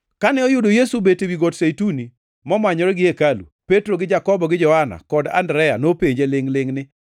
Kane oyudo Yesu obet ewi Got Zeituni, momanyore gi hekalu, Petro gi Jakobo, gi Johana kod Andrea nopenje lingʼ-lingʼ ni,